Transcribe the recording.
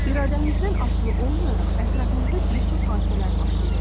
İradəmizdən asılı olmayaraq ətrafımızda bir çox hadisələr baş verir.